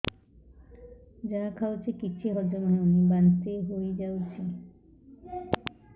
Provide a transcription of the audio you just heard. ଯାହା ଖାଉଛି କିଛି ହଜମ ହେଉନି ବାନ୍ତି ହୋଇଯାଉଛି